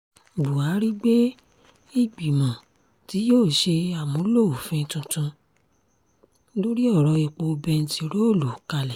buhari gbé ìgbìmọ̀ tí yóò ṣe àmúlò òfin tuntun lórí ọ̀rọ̀-èpo bẹntiróòlù kalẹ̀